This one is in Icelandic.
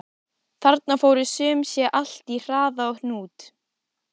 Þarna fór sum sé allt í harða hnút.